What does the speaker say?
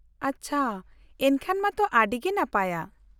-ᱟᱪᱪᱷᱟ, ᱮᱱᱠᱷᱟᱱ ᱢᱟᱛᱚ ᱟᱹᱰᱤ ᱜᱮ ᱱᱟᱯᱟᱭᱟ ᱾